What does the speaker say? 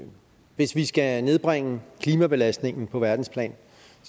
at hvis vi skal nedbringe klimabelastningen på verdensplan